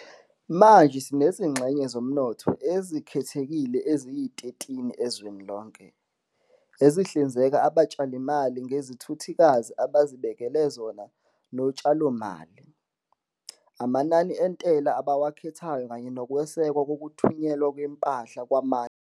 Manje sinezingxenye zomnotho ezikhethekile eziyi-13 ezweni lonke, ezihlinzeka abatshalizimali ngezikhuthazi abazibekele zona zotshalomali, amanani entela abawakhethayo kanye nokwesekwa kokuthunyelwa kwempahla kwamanye amazwe.